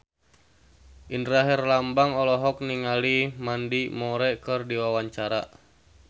Indra Herlambang olohok ningali Mandy Moore keur diwawancara